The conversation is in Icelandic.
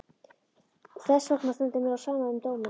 Og þessvegna stendur mér á sama um dóminn.